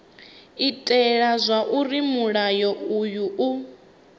itela zwauri mulayo uyu u